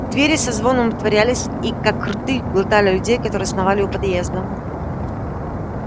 двери со звоном отворялись и как рты глотали людей которые сновали у подъезда